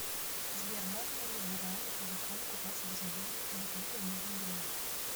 сбер можно ли в иране по закону купаться без одежды или только в нижнем белье